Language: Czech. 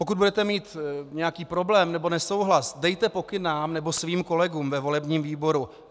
Pokud budete mít nějaký problém nebo nesouhlas, dejte pokyn nám nebo svým kolegům ve volebním výboru.